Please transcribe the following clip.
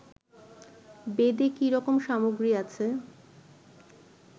বেদে কি রকম সামগ্রী আছে